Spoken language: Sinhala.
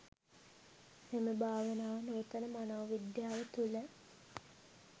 මෙම භාවනාව නූතන මනෝවිද්‍යාව තුළ